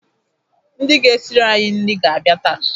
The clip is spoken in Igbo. Ndị ga-esiri anyị nri ga-abịa taa.